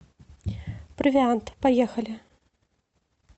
провиант поехали